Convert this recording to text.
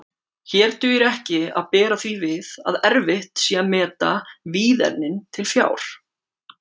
Hér dugir ekki að bera því við að erfitt sé að meta víðernin til fjár.